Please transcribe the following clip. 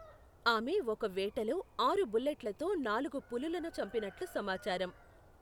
ఆమె ఒక వేటలో ఆరు బుల్లెట్లతో నాలుగు పులులను చంపినట్లు సమాచారం.